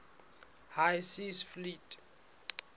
high seas fleet